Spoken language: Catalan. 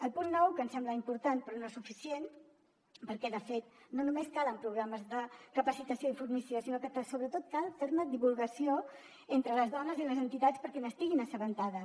el punt nou que ens sembla important però no suficient perquè de fet no només calen programes de capacitació i formació sinó que sobretot cal fer ne divulgació entre les dones i les entitats perquè n’estiguin assabentades